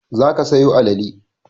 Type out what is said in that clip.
Za ka sayo alale!